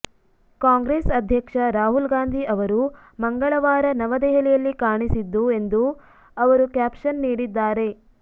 ಕಾಂಗ್ರೆಸ್ ಅಧ್ಯಕ್ಷ ರಾಹುಲ್ ಗಾಂಧಿ ಅವರು ಮಂಗಳವಾರ ನವದೆಹಲಿಯಲ್ಲಿ ಕಾಣಿಸಿದ್ದು ಎಂದು ಅವರು ಕ್ಯಾಪ್ಷನ್ ನೀಡಿದ್ದಾರೆ